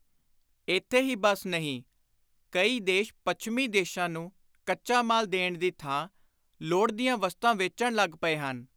ਇਥੇ ਹੀ ਬੱਸ ਨਹੀਂ; ਕਈ ਦੇਸ਼ ਪੱਛਮੀ ਦੇਸ਼ਾਂ ਨੂੰ ਕੱਚਾ ਮਾਲ ਦੇਣ ਦੀ ਥਾਂ ਲੋੜ ਦੀਆਂ ਵਸਤਾਂ ਵੇਚਣ ਲੱਗ ਪਏ ਹਨ।